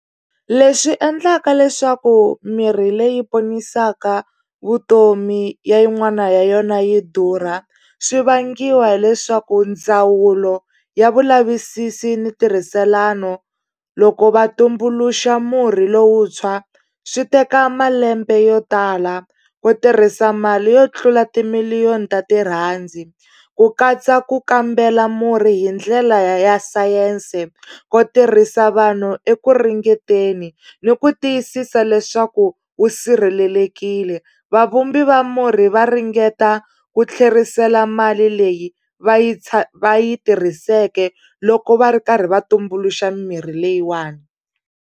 Leswi endlaka leswaku mirhi leyi ponisaka vutomi ya yin'wana ya yona yi durha swi vangiwa hileswaku ndzawulo ya vulavisisi ni ntirhiselano loko va tumbuluxa murhi lowuntshwa swi teka malembe yo tala ku tirhisa mali yo tlula timiliyoni ta tirhandi ku katsa ku kambela murhi hi ndlela ya ya sayense ku tirhisa vanhu eku ringeteni ni ku tiyisisa leswaku wu sirhelelekile vavumbi va murhi va ringeta ku tlherisela mali leyi va yi va yi tirhiseke loko va ri karhi va tumbuluxa mimirhi leyiwani.